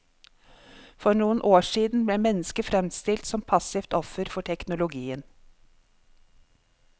For noen år siden ble mennesket fremstilt som passivt offer for teknologien.